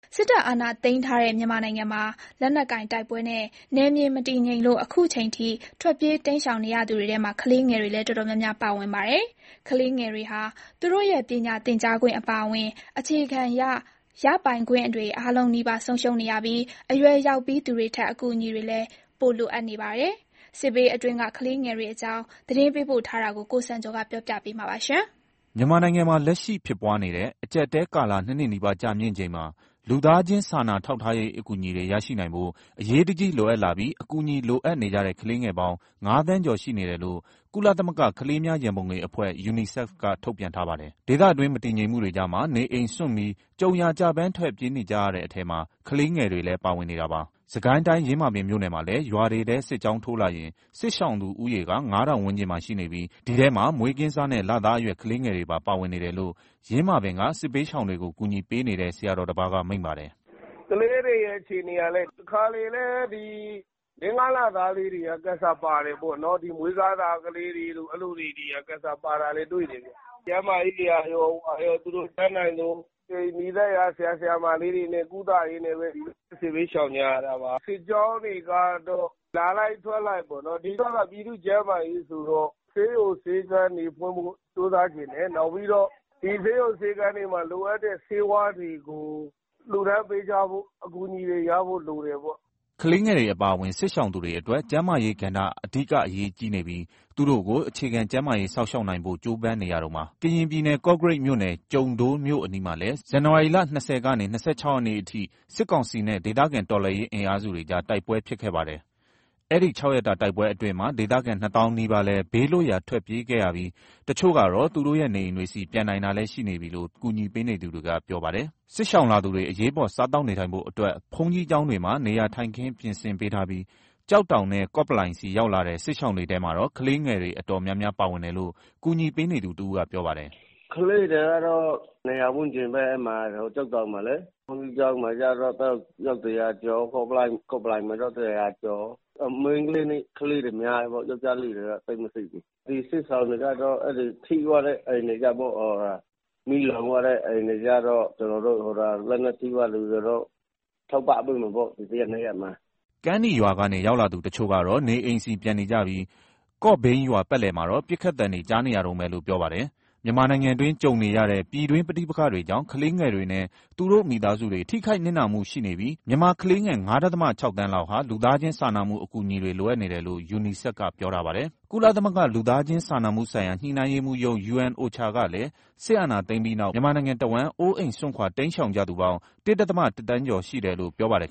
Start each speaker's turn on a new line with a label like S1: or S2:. S1: စစ်တပ်အာဏာသိမ်းထားတဲ့ မြန်မာနိုင်ငံမှာ လက်နက်ကိုင်တိုက်ပွဲနဲ့ နယ်မြေမတည်ငြိမ်လို့ အခုချိန်ထိ ထွက်ပြေးတိမ်းရှောင် နေရသူတွေထဲ ကလေးငယ်တွေလည်း အတော်များများ ပါဝင်ပါတယ်။ ကလေးငယ်တွေဟာ သူတို့ရဲ့ ပညာသင်ကြားခွင့် အပါအဝင် အခြေခံရပိုင်ခွင့်တွေ အားလုံးနီးပါး ဆုံးရှုံးနေရပြီး အရွယ်ရောက်ပြီးသူတွေထက် အကူအညီတွေလည်း ပိုလိုအပ်နေတာပါ။ စစ်ဘေးအတွင်းက ကလေးငယ်တွေအကြောင်း သတင်းပေးပို့ထားပါတယ်။
S2: မြန်မာနိုင်ငံမှာ လက်ရှိဖြစ်ပွားနေတဲ့ အကျပ်အတည်းကာလ နှစ်နှစ်နီးပါး ကြာမြင့်ချိန်မှာ လူသားချင်းစာနာ ထောက်ထားရေး အကူအညီတွေ ရရှိနိုင်ဖို့ အရေးတကြီး လိုအပ်လာပြီး အကူအညီ လိုအပ်နေကြတဲ့ ကလေးငယ်ပေါင်း ၅ သန်းကျော် ရှိနေတယ်လို့ ကုလသမဂ္ဂ ကလေးများ ရံပုံငွေအဖွဲ့ UNICEF က ထုတ်ပြန်ထားပါတယ်။ ဒေသတွင်း မတည်ငြိမ်မှုတွေကြားမှာ နေအိမ်စွန့်ပြီး ကြုံရာကျပန်း ထွက်ပြေးနေရတဲ့ အထဲမှာ ကလေးငယ်တွေလည်း ပါဝင်နေတာပါ။ စစ်ကိုင်းတိုင်း၊ ယင်းမာပင်မြို့နယ်မှာလည်း ရွာတွေထဲ စစ်ကြောင်းထိုးလာရင် စစ်ရှောင်သူဦးရေက ၅ ထောင်ဝန်းကျင်မှာ ရှိနေပြီး အဲဒီထဲမှာ မွေးကင်းစနဲ့ လသားအရွယ် ကလေးငယ်တွေပါ ပါဝင်နေတယ်လို့ ယင်းမာပင်က စစ်ဘေးရှောင်တွေကို ကူညီပေးနေတဲ့ ဆရာတော်တစ်ပါးက မိန့်ပါတယ်
S3: ။ "ကလေးတွေရဲ့ အခြေအနေကလည်း တခါတလေဆို ၄၊ ၅ လသားလေးတွေ စစ်ရှောင်ထဲပါတယ်။ မွေးကာစ ကလေးငယ်တွေလည်း တွေ့နေရတယ်။ ကျန်းမာရေးတွေ ဘာတွေအတွက် သူတို့အတတ်နိုင်ဆုံး နီးစပ်ရာ ဆရာ၊ ဆရာမလေးတွေနဲ့ ကုသရင်းနဲ့ပဲ
S4: စစ်ဘေးရှောင်နေရတာ
S3: ပါ။ စစ်ကြောင်းတွေကတော့ လာလိုက်၊ ထွက်လိုက်ပေါ့နော်။ အဓိက ပြည်သူ့ကျန်းမာရေး ဆိုတော့ ဆေးရုံ၊ ဆေးခန်းတွေဖွင့်ဖို့ ကြိုးစားချင်တယ်။ နောက်ပြီးတော့ ဒီဆေးရုံ၊ ဆေးခန်းတွေမှာ လိုအပ်တဲ့ ဆေးဝါးတွေကို လှူဒါန်းပေးကြဖို့၊ အကူအညီတွေရဖို့ လိုတယ်ပေါ့။
S2: " ကလေးငယ်တွေ အပါအဝင် စစ်ရှောင်သူတွေအတွက် ကျန်းမာရေးကဏ္ဍက အဓိက အရေးကြီးနေပြီး သူတို့ကို အခြေခံ ကျန်းမာရေး စောင့်ရှောက်နိုင်ဖို့ကို ကြိုးပမ်းနေရတုန်းပါ။ ကရင်ပြည်နယ်၊ ကော့ကရိတ်မြို့နယ်၊ ကျုံဒိုးမြို့အနီးမှာလည်း ဇန်နဝါရီလ ၂၀ ကနေ ၂၆ ရက်နေ့အထိ စစ်ကောင်စီနဲ့ ဒေသခံတော်လှန်ရေး အင်အားစုတွေကြား တိုက်ပွဲဖြစ်ခဲ့ပါတယ်။ အဲဒီ ၆ ရက်တာ တိုက်ပွဲအတွင်းမှာ ဒေသခံ ၂ သောင်းနီးပါးလည်း ဘေးလွတ်ရာ ထွက်ပြေးခဲ့ရပြီး တချို့ကတော့ သူတို့ရဲ့ နေအိမ်တွေဆီ ပြန်နိုင်တာလည်း ရှိနေပြီလို့ ကူညီပေးသူတွေက ပြောပါတယ်။ စစ်ရှောင်လာသူတွေ အရေးပေါ် စားသောက်နေထိုင်ဖို့ အတွက် ဘုန်းကြီးကျောင်းတွေမှာ နေရာထိုင်ခင်း ပြင်ဆင်ပေးထားပြီး ကျောက်တောင်နဲ့ ကော့ပလိုင်ဆီ ရောက်လာတဲ့ စစ်ရှောင်တွေထဲမှာတော့ ကလေးငယ်တွေ အတော်များများ ပါဝင်တယ်လို့ ကူညီပေးနေသူတဦးက ပြောပါတယ်။
S4: "ကလေးတွေကတော့ ကျောက်တောင်မှာ ၂၀၀ ဝန်းကျင်၊ ဘုန်းကြီးကျောင်းမှာက အယောက် ၁၀၀ ကျော်၊ ကော့ပလိုင်မှာ အယောက် ၁၀၀ ကျော်။ စစ်ရှောင်ကလေးတွေထဲမှာ မိန်းကလေးတွေ များတယ်။ ယောကျ်ားလေးတွေတော့ သိပ်မရှိဘူး။ ဒီစစ်ရှောင်တွေက ထိသွားတဲ့အိမ်တွေ၊ မီးလောင်သွားတဲ့ အိမ်တွေကိုတော့ ဒီ ၁ရက်၊ ၂ ရက်အတွင်းမှာ ထောက်ပံ့ပေးမယ်ပေါ့။
S2: " ကမ်းနီရွာကနေ ရောက်လာသူ တချို့ကတော့ နေအိမ်ဆီ ပြန်နေကြပြီး၊ ကော့ဘိန်းရွာ ပတ်လည်မှာတော့ ပစ်ခတ်သံတွေ ကြားနေရတုန်းပဲလို့ ပြောပါတယ်။ မြန်မာနိုင်ငံတွင်း ကြုံနေရတဲ့ ပြည်တွင်းပဋိပက္ခတွေကြောင့် ကလေးငယ်တွေနဲ့ သူတို့မိသားစုတွေ ထိခိုက်နစ်နာမှု ရှိနေပြီး၊ မြန်မာကလေးငယ် ၅ ဒဿမ ၆ သန်းလောက်ဟာ လူသားချင်းစာနာမှု အကူအညီတွေ လိုအပ်နေတယ်လို့ UNICEF က ပြောထားပါတယ်။ ကုလသမဂ္ဂ လူသားချင်းစာနာမှုဆိုင်ရာ ညှိနှိုင်းရေးမှူးရုံး UNOCHA ကလည်း စစ်အာဏာသိမ်းပြီးနောက် မြန်မာနိုင်ငံတဝှမ်း အိုးအိမ်စွန့်ခွာ တိမ်းရှောင်ကြသူပေါင်း ၁ ဒဿမ ၁ သန်းကျော် ရှိတယ်လို့ ပြောပါတယ်